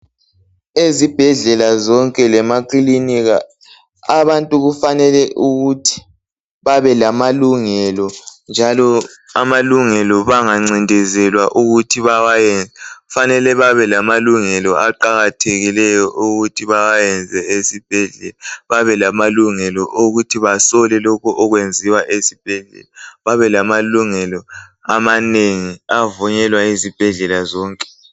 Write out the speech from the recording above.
Ezibhedlela zonke lemakilinika abantu kufanele ukuthi babe lamalungelo njalo amalungelo bangancindezelwa ukuthi bawayenze kufanele babe lamalungelo aqakathekileyo ukuthi bawayenze esibhedlela babe lamalungelo okuthi basole lokho okwenziwa esibhedlela babe lamalungelo amanengi avunyelwa yizibhedlela zonke.